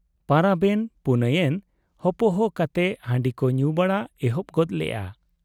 ᱯᱟᱨᱟᱵᱽ ᱮᱱ ᱯᱩᱱᱟᱹᱭ ᱮᱱ ᱦᱚᱯᱚᱦᱚ ᱠᱟᱛᱮ ᱦᱟᱺᱰᱤ ᱠᱚ ᱧᱩ ᱵᱟᱲᱟ ᱮᱦᱚᱵᱽ ᱜᱚᱫᱽ ᱞᱮᱜ ᱟ ᱾